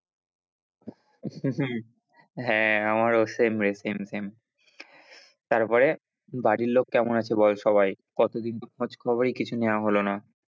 হম হম হ্যাঁ, আমারও same রে same, same তারপরে বাড়ির লোক কেমন আছে বল সবাই? কতদিন তো খোঁজ খবরই কিছু নেওয়া হল না।